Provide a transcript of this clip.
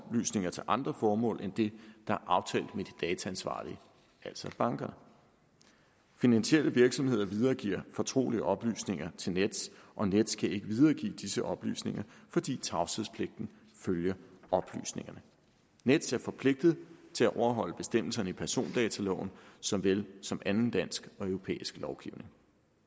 oplysninger til andre formål end det er aftalt med de dataansvarlige altså bankerne finansielle virksomheder videregiver fortrolige oplysninger til nets og nets kan ikke videregive disse oplysninger fordi tavshedspligten følger oplysningerne nets er forpligtet til at overholde bestemmelserne i persondataloven så vel som anden dansk og europæisk lovgivning